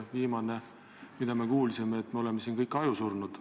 Viimane, mida me kuulsime, oli see, et me oleme siin kõik ajusurnud.